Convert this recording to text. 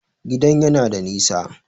Gidan yana da nisa